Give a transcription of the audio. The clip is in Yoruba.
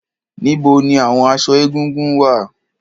Níbo ni àwon aṣọ egúngún wà?